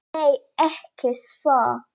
Nei, ekki svo